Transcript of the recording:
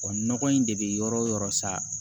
Wa nɔgɔ in de bɛ yɔrɔ wo yɔrɔ sa